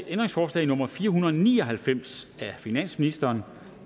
ændringsforslag nummer fire hundrede og ni og halvfems af finansministeren og